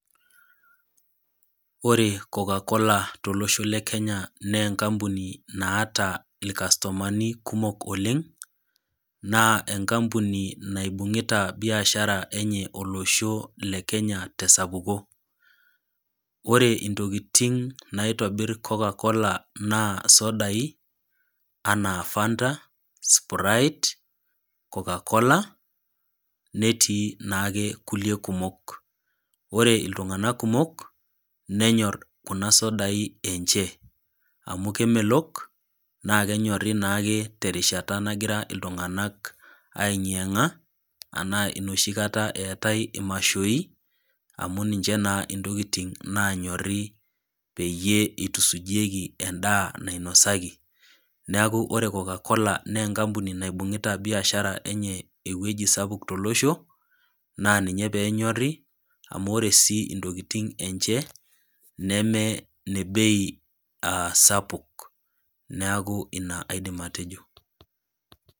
Ore CocaCola tolosho le Kenya naa enkampuni naata ilkastomani kumok oleng', naa enkampuni naibung'ita biashara enye olosho le Kenya te esapuko. Ore intokitin naitobir CocaCola naa isodai, anaa Fanta, Sprite, CocaCola, netii naake kulie kumok. Ore iltung'anak kumok, nenyor kuna sodai enche, amu kemelok, naakenyori naake terishata nagira iltung'ana aeng'ieng'a, ashu nooshi kata eatai imashoi, amu ninche naa intokitin naanyori peyie eitusujieki endaa nainosaki, neaku ore CocaCola naa enkampuni naibung'ita biashara enye ewueji sapuk tolosho, naa ninye pee enyori amu ore sii intokitin enye, ine bei sapuk, neaku ina aidim atejo.